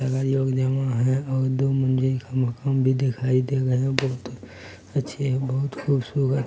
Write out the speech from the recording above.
लोग जमा है और दो मंज़िल का मकान भी दिखाई देगा यहाँ बहोत अच्छी बहोत खूबसूरत --